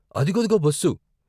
అదిగదిగో బస్సు.